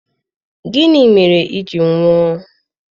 Gịnị mere i ji nwụọ!